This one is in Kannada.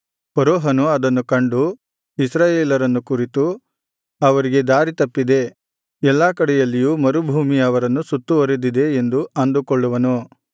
ಫರೋಹನು ಅದನ್ನು ಕಂಡು ಇಸ್ರಾಯೇಲರನ್ನು ಕುರಿತು ಅವರಿಗೆ ದಾರಿತಪ್ಪಿದೆ ಎಲ್ಲಾ ಕಡೆಯಲ್ಲಿಯೂ ಮರುಭೂಮಿ ಅವರನ್ನು ಸುತ್ತುವರಿದಿದೆ ಎಂದು ಅಂದುಕೊಳ್ಳುವನು